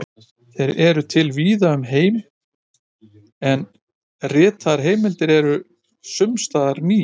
Þeir eru til víða um heim, en ritaðar heimildir eru sums staðar rýrar.